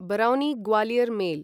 Barauni Gwalior mail